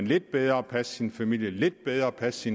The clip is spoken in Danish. lidt bedre passe deres familie lidt bedre passe